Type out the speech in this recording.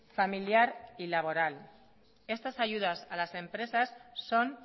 familiar y laboral estas ayudas a las empresas son